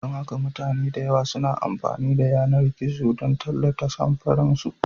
Don haka mutane da yawa suna amfani da yanar gizo don tallata samfuran su.